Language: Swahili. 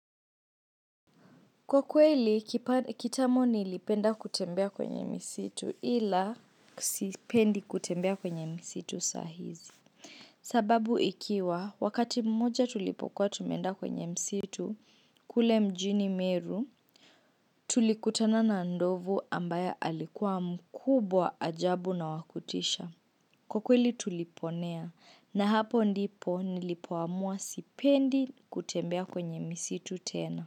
Kwa kweli, kitambo nilipenda kutembea kwenye misitu ila sipendi kutembea kwenye msitu sahizi. Sababu ikiwa, wakati mmoja tulipokuwa tumeenda kwenye msitu, kule mjini meru, tulikutana na ndovu ambaye alikuwa mkubwa ajabu na wakutisha. Kwa kweli tuliponea, na hapo ndipo nilipoamua sipendi kutembea kwenye msitu tena.